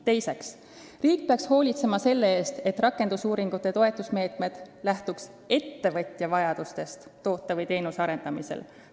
Teiseks, riik peaks hoolitsema selle eest, et rakendusuuringuid toetavad meetmed lähtuks ettevõtja vajadustest toote või teenuse arendamisel.